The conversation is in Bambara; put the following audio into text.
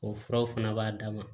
O furaw fana b'a dama